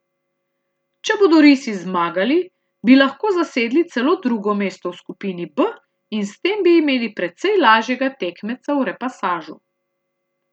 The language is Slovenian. Če bodo risi zmagali, bi lahko zasedli celo drugo mesto v skupini B in s tem bi imeli precej lažjega tekmeca v repasažu.